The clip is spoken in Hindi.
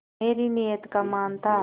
मेरी नीयत का मान था